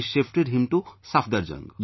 They shifted him to Safdurjung